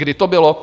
Kdy to bylo?